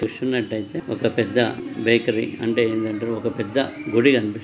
చూస్తున్నటైతే ఒక పెద్ద బేకారి అంటే ఏంటంటే ఒక పెద్ద గుడి కనిపిస్తుంది --